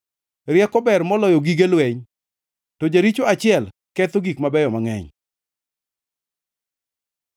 Rieko ber moloyo gige lweny, to jaricho achiel ketho gik mabeyo mangʼeny.